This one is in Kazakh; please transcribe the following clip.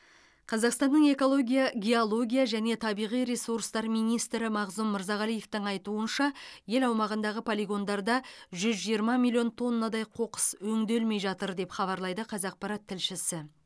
қазақстанның экология геология және табиғи ресурстар министрі мағзұм мырзағалиевтің айтуынша ел аумағындағы полигондарда жүз жиырма миллион тоннадай қоқыс өңделмей жатыр деп хабарлайды қазақпарат тілшісі